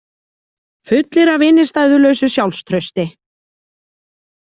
Fullir af innistæðulausu sjálfstrausti.